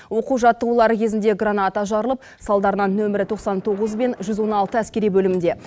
оқу жаттығулары кезінде граната жарылып салдарынан нөмірі тоқсан тоғыз бен жүз он алты әскери бөлімінде